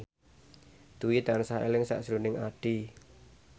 Dwi tansah eling sakjroning Addie